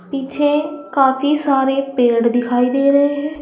पीछे काफी सारे पेड़ दिखाई दे रहे हैं।